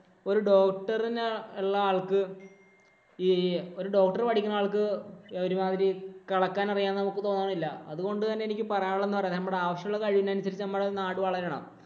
ഒരു doctor ഇനുള്ള ആള്‍ക്ക് ഈ ഒരു doctor പഠിക്കുന്ന ആള്‍ക്ക് ഒരുമാതിരി കെളക്കാന്‍ അറിയുമെന്ന് നമുക്ക് തോന്നുന്നില്ല. അതുകൊണ്ട് എനിക്ക് പറയാന്‍ ഉള്ളത് നമ്മടെ ആവശ്യമുള്ള കഴിവനുസരിച്ച് നമ്മുടെ നാട് വളരണം.